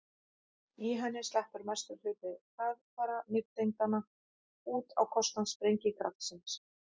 í henni sleppur mestur hluti hraðfara nifteindanna út á kostnað sprengikraftsins